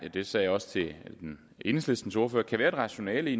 det sagde jeg også til enhedslistens ordfører kan være et rationale i